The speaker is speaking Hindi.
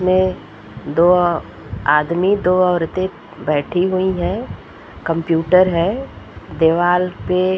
दो आदमी दो औरते बैठी हुई हैं। कंप्यूटर है। दीवाल पे --